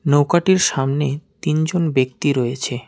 নৌকাটির সামনে তিনজন ব্যক্তি রয়েছে।